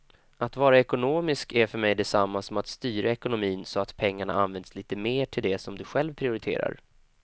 Att vara ekonomisk är för mig detsamma som att styra ekonomin så att pengarna används lite mer till det som du själv prioriterar.